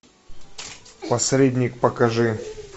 посредник покажи